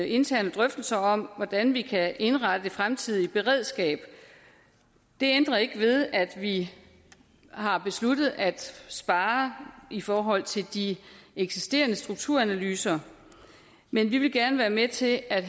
interne drøftelser om hvordan vi kan indrette det fremtidige beredskab det ændrer ikke ved at vi har besluttet at spare i forhold til de eksisterende strukturanalyser men vi vil gerne være med til at